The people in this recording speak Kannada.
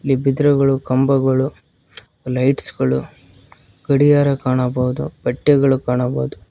ಇಲ್ಲಿ ಬಿದ್ರು ಗಳು ಕಂಬಗಳು ಲೈಟ್ಸ್ ಗಳು ಗಡಿಯಾರ ಕಾಣಬಹುದು ಬಟ್ಟೆಗಳು ಕಾಣಬಹುದು.